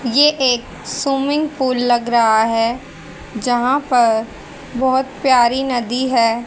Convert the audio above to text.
ये एक swimming pool लग रहा है। जहां पर बहुत प्यारी नदी है।